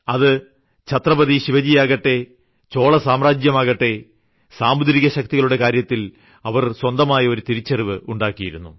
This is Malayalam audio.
അത് ഛത്രപതി ശിവജി ആകട്ടെ ചോള സാമ്രാജ്യമാകട്ടെ സാമുദ്രികശക്തിയുടെ കാര്യത്തിൽ അവർ സ്വന്തമായ ഒരു തിരിച്ചറിവ് ഉണ്ടാക്കിയിരുന്നു